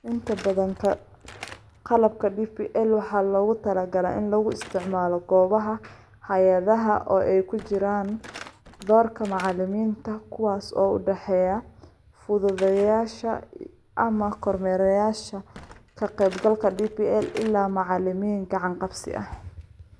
Inta badan qalabka DPL waxaa loogu talagalay in lagu isticmaalo goobaha hay'adaha oo ay ku jiraan doorka macallimiinta kuwaas oo u dhexeeya fududeeyayaasha iyo/ama kormeerayaasha ka qaybgalka DPL ilaa macalimiin gacan-qabsi ah.